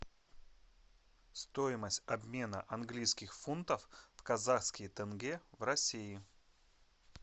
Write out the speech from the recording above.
стоимость обмена английских фунтов в казахские тенге в россии